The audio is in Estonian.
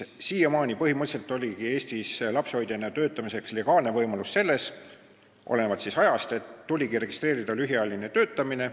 Siiamaani oli Eestis lapsehoidjana töötamiseks legaalne võimalus see, et olenevalt ajast tuli registreerida lühiajaline töötamine.